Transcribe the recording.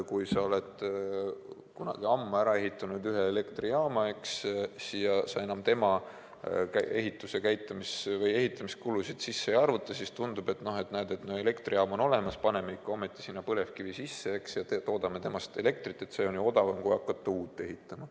Kui sa oled kunagi ammu ehitanud valmis ühe elektrijaama ja sa enam selle ehitamiskulusid sisse ei arvuta, siis tundub, et elektrijaam on olemas, paneme sinna ikka põlevkivi sisse ja toodame sellest elektrit, sest see on odavam, kui hakata uut ehitama.